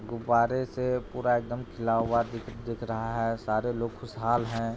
गुब्बारे से पूरा एकदम खिला हुआ दी दिख रहा है सारे लोग खुशहाल हैं।